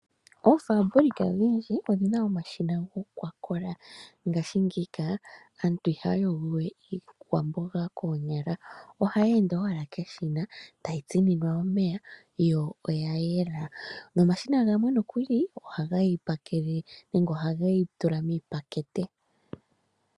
Oofambulika odhindji odhi na omashina go kwa kola ngaashi ngika aantu ihaya yogo we iikwamboga koonyala, ohayi ende owala keshina tayi tsininwa omeya yo oya yela. Nomashina gamwe nokuli ohage ti pakele nenge ohage ti tula miipakete.